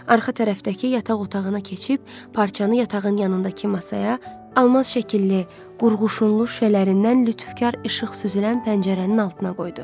Arxa tərəfdəki yataq otağına keçib, parçanı yatağın yanındakı masaya, almaz şəkilli, qurğuşunlu şüşələrindən lütfkarlıq süzülən pəncərənin altına qoydu.